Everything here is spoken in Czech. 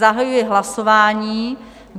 Zahajuji hlasování.